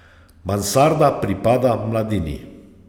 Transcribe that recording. Mansarda pripada mladini.